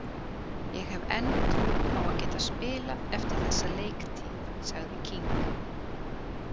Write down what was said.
Ég hef enn trú á að geta spilað eftir þessa leiktíð, sagði King.